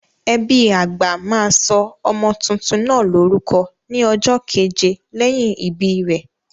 Ẹbí àgbà máa sọ ọmọ tuntun náà lórúkọ ní ọjọ́ keje lẹ́yìn ìbí rẹ̀.